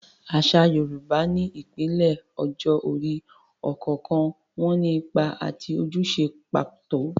Àṣà Yorùbá ní ìpele ọjọ́ orí, ọ̀kọ̀ọ̀kan wọn ní ipa àti ojúṣe pàtó.